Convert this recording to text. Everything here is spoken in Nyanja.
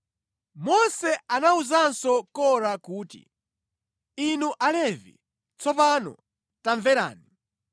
Mose anawuzanso Kora kuti, “Inu Alevi, tsopano tamverani!